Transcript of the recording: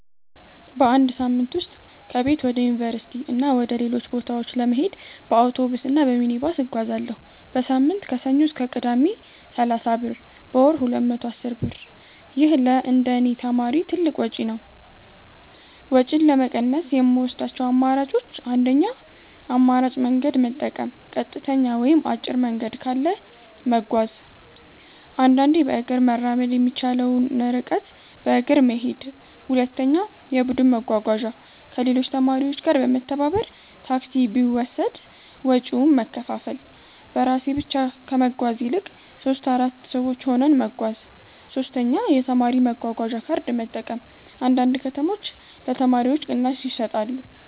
በአንድ ሳምንት ውስጥ ከቤት ወደ ዩኒቨርሲቲ እና ወደ ሌሎች ቦታዎች ለመሄድ በአውቶቡስ እና በሚኒባስ እጓዛለሁ። · በሳምንት (ከሰኞ እስከ ቅዳሜ) = 30 ብር · በወር = 210 ብር ይህ ለእንደኔ ተማሪ ትልቅ ወጪ ነው። ወጪን ለመቀነስ የምወስዳቸው አማራጮች 1. የአማራጭ መንገድ መጠቀም · ቀጥተኛ ወይም አጭር መንገድ ካለ መጓዝ · አንዳንዴ በእግር መራመድ የሚቻለውን ርቀት በእግር መሄድ 2. የቡድን መጓጓዣ · ከሌሎች ተማሪዎች ጋር በመተባበር ታክሲ ቢወሰድ ወጪውን መከፋፈል · በራሴ ብቻ ከመጓዝ ይልቅ 3-4 ሰዎች ሆነን መጓዝ 3. የተማሪ መጓጓዣ ካርድ መጠቀም · አንዳንድ ከተሞች ለተማሪዎች ቅናሽ ይሰጣሉ